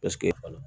Paseke